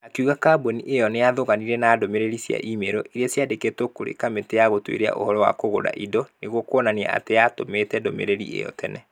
Akiũga kambuni ĩyo nĩ ya thoganire na ndũmĩrĩri cia e-mailo. Iria ciandĩkĩtwo kũrĩ kamĩtĩ ya gũtuĩria ũhoro wa kũgũra indo. Nĩguo kuonania atĩ nĩ yatũmĩte ndũmĩrĩri ĩyo tene.